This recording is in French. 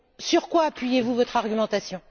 Sur quoi appuyez vous votre argumentation?